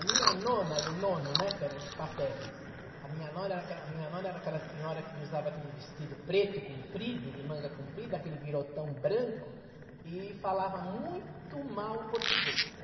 A minha nona e o nono, né, que eram os paternos, a minha nona era aquela a minha nona era aquela senhora que usava aquele vestido preto, comprido, de manga comprida, aquele birotão branco, e falava muito mal português.